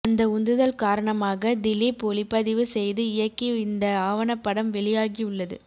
அந்த உந்துதல் காரணமாக திலீப் ஒளிப்பதிவு செய்து இயக்கி இந்த ஆவணப்படம் வெளியாகி உள்ளது